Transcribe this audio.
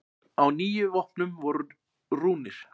Á níu vopnum voru rúnir.